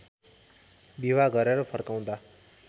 विवाह गरेर फर्काउँदा